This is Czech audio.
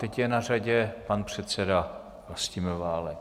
Teď je na řadě pan předseda Vlastimil Válek.